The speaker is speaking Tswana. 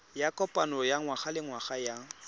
ya kopano ya ngwagalengwaga ya